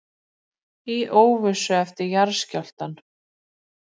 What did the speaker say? Í óvissu eftir jarðskjálftann